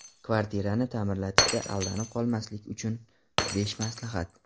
Kvartirani ta’mirlatishda aldanib qolmaslik uchun besh maslahat.